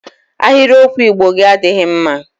Ahịrịokwu Igbo gị adịghị mma!